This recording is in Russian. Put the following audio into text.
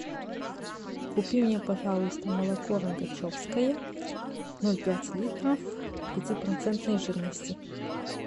купи мне пожалуйста молоко рогачевское ноль пять литров пяти процентной жирности